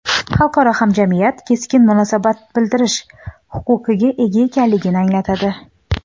xalqaro hamjamiyat keskin munosabat bildirish huquqiga ega ekanligini anglatadi.